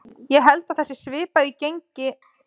Ég held að það sé svipað í gangi með England.